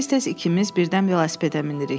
Tez-tez ikimiz birdən velosipedə minirik.